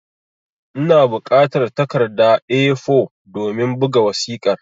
Ina bukatar takarda (A4) domin buga wasiƙar